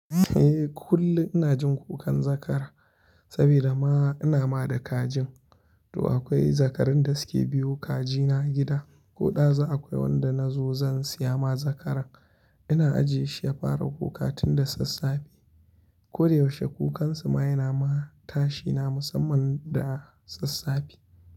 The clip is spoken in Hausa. Eh kullum ina jin kukan zakara saboda ma ina ma da kajin. Toh akwai zakarun da suke biyo kaji na gida, ko ɗazu akwai wanda na zo zan siya ma zakara. Ina ajiye shi ya fara kuka tun da sassafe. Koda yaushe kukansu ma yana tashi na da sassafe.